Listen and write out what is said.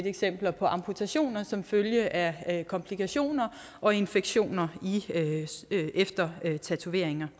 eksempler på amputationer som følge af komplikationer og infektioner efter tatoveringer